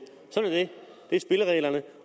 det er spillereglerne